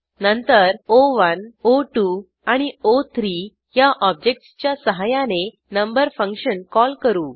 नंतर O one O two आणि ओ3 ह्या ऑब्जेक्टसच्या सहाय्याने नंबर फंक्शन कॉल करू